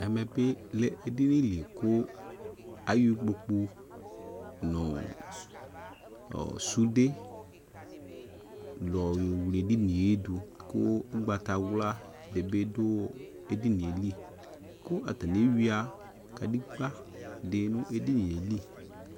Ɛmɛ be lɛ edini li ko ayɔ ikpokpu nɔ sude lɔ yɔ wle edinie do ko ugbatawla de be do edinie li ko atane ewia kadegba de no edinie li